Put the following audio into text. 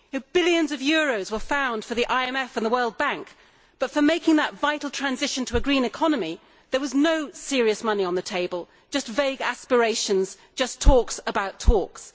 Billions of euros were found for the IMF and the World Bank, but for making that vital transition to a green economy there was no serious money on the table, just vague aspirations just talks about talks.